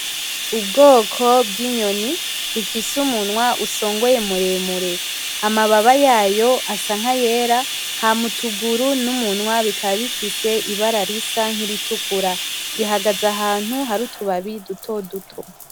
Ubwoko bwinyoni ifise umunwa usongoye muremure amababa yayo asa nkayera hama utuguru numunwa bika bifise ibara risa nkiritukura , ihagaze ahantu hari utubabi dutoduto .